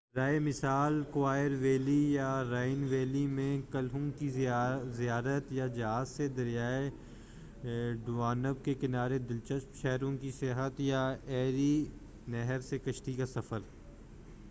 برائے مثال کوائر ویلی یا رائن ویلی میں قلعوں کی زیارت یا جہاز سے دریائے ڈانوب کے کنارے دلچسپ شہروں کی سیاحت یا ایری نہر سے کشتی کا سفر